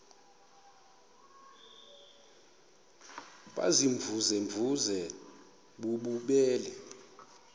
baziimvuze mvuze bububele